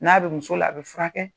N'a bɛ muso la, a bɛ furakɛ kɛ.